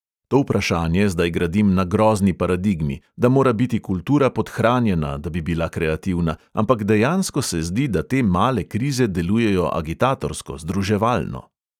To vprašanje zdaj gradim na grozni paradigmi, da mora biti kultura podhranjena, da bi bila kreativna, ampak dejansko se zdi, da te male krize delujejo agitatorsko, združevalno.